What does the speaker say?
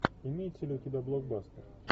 имеется ли у тебя блокбастер